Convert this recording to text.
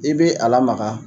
I bɛ a lamaka.